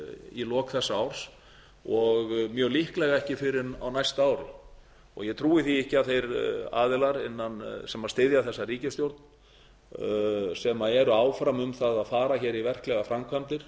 í lok þessa árs og mjög líklega ekki fyrr en á næsta ári og ég trúi því ekki að þeir aðilar sem styðja þessa ríkisstjórn sem eru áfram um það að fara í verklegar framkvæmdir